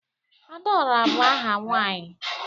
Adaora bu aha nwanyi